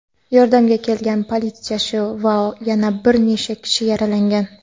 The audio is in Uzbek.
Yordamga kelgan politsiyachi va yana bir necha kishi yaralangan.